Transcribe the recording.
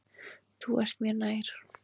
Þú ert mér nær.